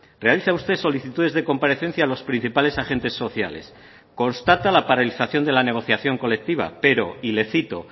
realiza usted solicitudes de comparecencia a los principales agentes sociales constata la paralización de la negociación colectiva pero y le cito